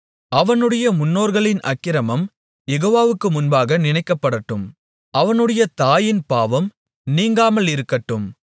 அவனுடைய முன்னோர்களின் அக்கிரமம் யெகோவாவுக்கு முன்பாக நினைக்கப்படட்டும் அவனுடைய தாயின் பாவம் நீங்காமலிருக்கட்டும்